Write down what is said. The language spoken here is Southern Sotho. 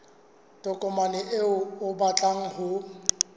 tokomane eo o batlang ho